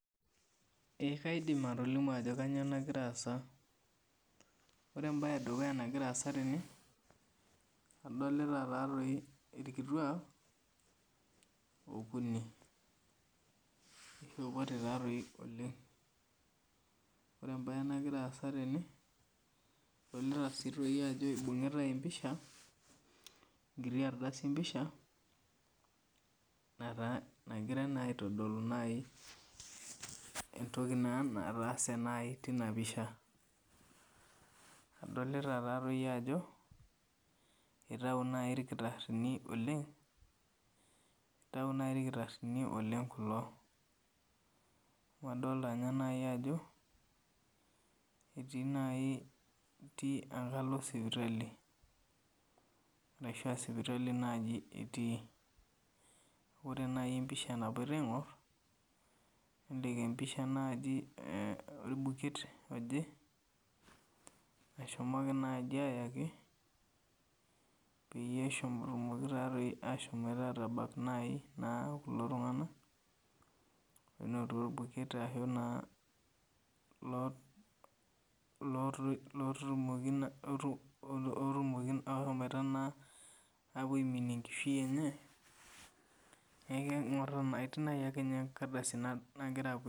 Eeh kaidim atolimu ajo kainyoo nagira aasa, ore embae edukuya nagira aasa tene ,adolita taadoi irkituak okuni oishopote taadoi oleng. Ore embae nagira aasa tene, adolita sii doi ajo eibungitae empisha enkiti ardasi empisha nagirae aitodolu naaji entoki naa nataase tina pisha. Adolita taadoi ajo, eitayu naaji irkitarini oleng kulo, amu adolita ninye naaji ajo etii enkalo sipitali, ashua sipitali naaji etii. Ore empisha naaji nagira aingor ,nelelek aa empisha orbuket oje eshomoki naji ayakipeyie etumoki naaji ashomo atabak kulo tunganakonoto ilo buket ashu oshomoito naa aiminie enkishui enye, neeku etii ake ninye enkardasi nagira aing'or.